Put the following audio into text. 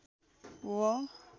व